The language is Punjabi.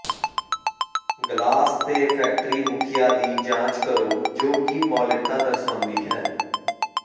ਗਲਾਸ ਤੇ ਫੈਕਟਰੀ ਮੁਖੀਆਂ ਦੀ ਜਾਂਚ ਕਰੋ ਜੋ ਕਿ ਮੌਲਿਕਤਾ ਦਰਸਾਉਂਦੀ ਹੈ